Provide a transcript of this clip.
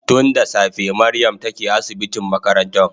Tun da safe Mariam take asibitin makarantan